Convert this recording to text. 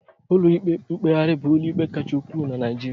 Ụlọ ikpe mkpegharị bụ ụlọ ikpe kachasị ukwuu na Naijiria